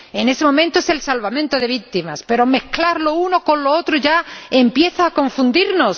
En este momento, es el salvamento de víctimas pero mezclar lo uno con lo otro ya empieza a confundirnos.